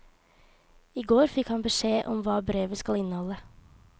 I går fikk han beskjed om hva brevet skal inneholde.